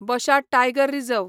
बशा tiger reserve